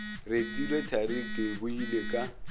retilwe thari ke boile ka